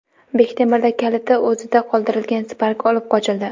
Bektemirda kaliti o‘zida qoldirilgan Spark olib qochildi.